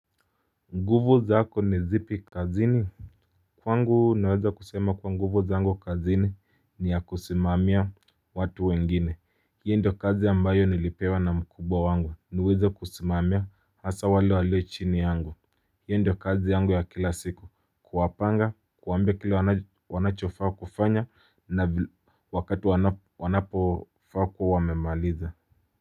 Nguvu zako ni zipi kazini? Kwangu naweza kusema kuwa nguvu zangu kazini ni ya kusimamia watu wengine hiyo ndiyo kazi ambayo nilipewa na mkubwa wangu niweze kusimamia hasa wale walio chini yangu hiyo ndiyo kazi yangu ya kila siku kuwapanga kuwaambia kile wanachofaa kufanya na wakati wanapofaa kuwa wamemaliza.